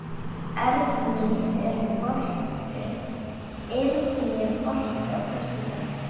Eirný, er bolti á föstudaginn?